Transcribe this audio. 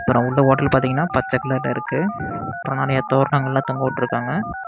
அப்றம் உள்ள ஓட்டல் பாத்தீங்கன்னா பச்ச கலர்ல இருக்கு அப்றோ நெறய தோரணங்கெல்லாம் தொங்கவிட்டுருக்காங்க.